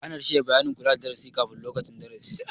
Ana shirya bayanin kula na darasi kafin lokacin darasin